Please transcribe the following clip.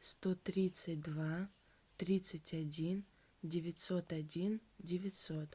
сто тридцать два тридцать один девятьсот один девятьсот